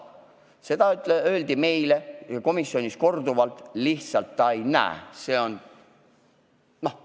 Seda öeldi meile komisjonis korduvalt, ta lihtsalt ei näe neid.